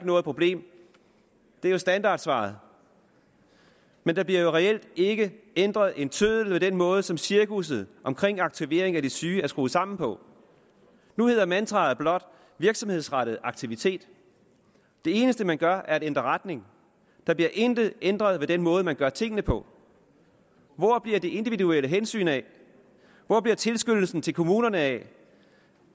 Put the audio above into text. noget problem det er jo standardsvaret men der bliver jo reelt ikke ændret en tøddel ved den måde som cirkusset omkring aktivering af de syge er skruet sammen på nu hedder mantraet blot virksomhedsrettet aktivitet det eneste man gør er at ændre retning der bliver intet ændret ved den måde man gør tingene på hvor bliver det individuelle hensyn af hvor bliver tilskyndelsen til kommunerne af